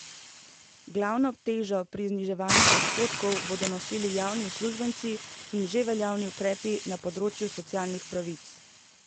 Glavno težo pri zniževanju odhodkov bodo nosili javni uslužbenci in že veljavni ukrepi na področju socialnih pravic.